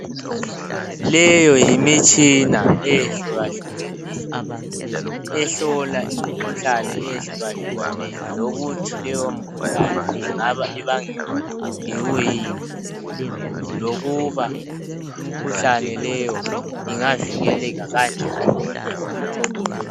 leyo yimitshina eyehlukahlukaneyo ehlola imikhuhlane eyehlukahlukeneyo lokuthi leyo mikhuhlane ingaba ibangelwa yikuyini lokuba imikhuhlane leyo ingavikeleka kanjani